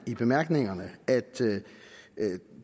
i bemærkningerne at